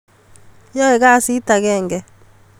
Yoe kasit agenge